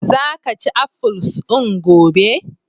Za ka ci afuls din gobe!